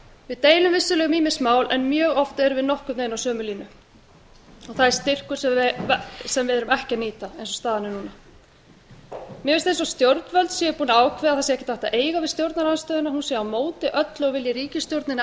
við deilum vissulega um ýmis mál en mjög oft erum við nokkurn veginn á sömu línu það er styrkur sem við erum ekki að nýta eins og staðan er núna mér finnst eins og stjórnvöld séu búin að ákveða að það sé ekkert hægt að eiga við stjórnarandstöðuna hún sé á móti öllu og vilji ríkisstjórninni